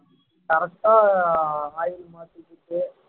correct ஆ oil மாத்திக்கிட்டு